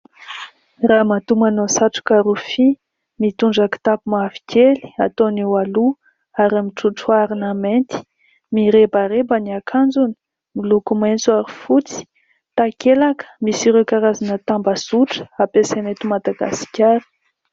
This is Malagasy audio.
Ramatoa manao satroka rofia, mitondra kitapo mavokely ataony eo aloha ary mitrotro harona mainty, mirebareba ny akanjony miloko maitso ary fotsy. Takelaka misy ireo karazana tambazotra hampiasaina eto Madagasikara.